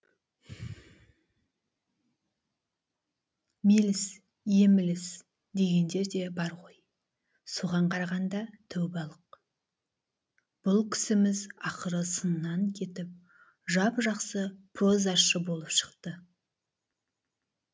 меліс емліс дегендер де бар ғой соған қарағанда тәубалық бұл кісіміз ақыры сыннан кетіп жап жақсы прозашы болып шықты